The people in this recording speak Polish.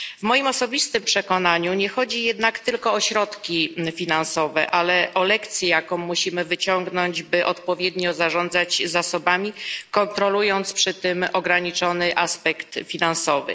W moim osobistym przekonaniu nie chodzi jednak tylko o środki finansowe, ale o lekcję, jaką musimy wyciągnąć, by odpowiednio zarządzać zasobami, kontrolując przy tym ograniczony aspekt finansowy.